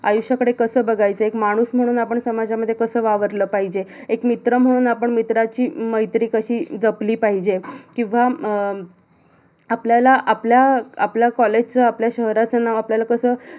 आयुष्याकडे कस बघायचं, एक माणूस म्हणून आपण समाजामध्ये कस वावरल पाहिजे, एक मित्र म्हणून आपण मित्राची मैत्री कशी जपली पाहिजे किवा अह आपल्याला आपल्या आपला college च, आपल्या शहराच नाव आपल्याला कस